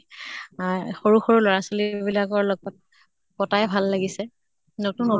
আই সৰু সৰু লʼৰা ছোৱালী বিলাকৰ লগত কটাই ভাল লাগিছে। নতুন